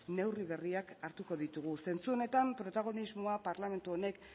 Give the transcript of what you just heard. neurri berriak hartuko ditugu zentzu honetan protagonismoa parlamentu honek